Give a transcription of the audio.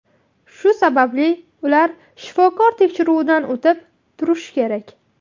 Shu sababli ular shifokor tekshiruvidan o‘tib turish kerak.